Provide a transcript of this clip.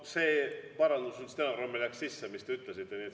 Ka see parandus stenogrammi läks sisse, mis te ütlesite.